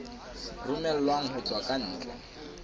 romellwang ho tswa ka ntle